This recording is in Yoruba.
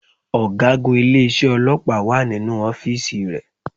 Ọ̀gágun ilé isé ọlọ́pàá wà nínú ọ́fíìsì rẹ